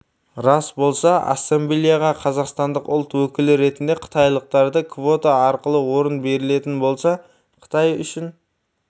рас болса ассамблеяға қазақстандық ұлт өкілі ретінде қытайлықтарға квота арқылы орын берілетін болса қытай үшін